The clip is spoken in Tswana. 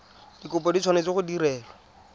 dikopo di tshwanetse go direlwa